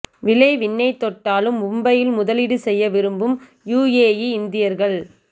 விலை விண்ணைத் தொட்டாலும் மும்பையில் முதலீடு செய்ய விரும்பும் யுஏஇ இந்தியர்கள்